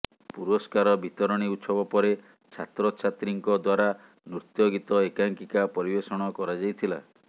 ପୁରସ୍କାର ବିତରଣୀ ଉତ୍ସବ ପରେ ଛାତ୍ରଛାତ୍ରୀଙ୍କ ଦ୍ବାରା ନୃତ୍ୟ ଗୀତ ଏକାଙ୍କିକା ପରିବେଷଣ କରାଯାଇଥିଲା